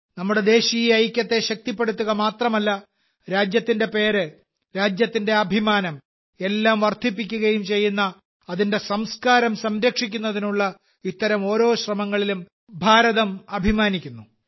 നമ്മുടെ ദേശീയ ഐക്യത്തെ ശക്തിപ്പെടുത്തുക മാത്രമല്ല രാജ്യത്തിന്റെ പേര് രാജ്യത്തിന്റെ അഭിമാനം എല്ലാം വർദ്ധിപ്പിക്കുകയും ചെയ്യുന്ന അതിന്റെ സംസ്കാരം സംരക്ഷിക്കുന്നതിനുള്ള ഇത്തരം ഓരോ ശ്രമങ്ങളിലും ഭാരതം അഭിമാനിക്കുന്നു